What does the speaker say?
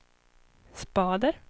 spader